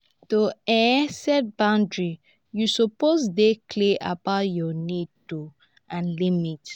to um set boundaries yu suppose dey clear about yur nids oo and limits.